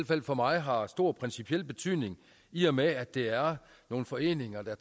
fald for mig har stor principiel betydning i og med at det er nogle foreninger der